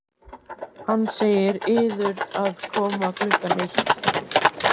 Hann segir yður að koma klukkan eitt.